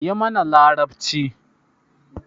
Yi mana larabci.